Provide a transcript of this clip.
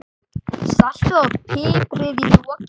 Saltið og piprið í lokin.